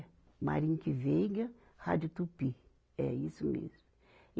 Mayrink Veiga, Rádio Tupi, é isso mesmo.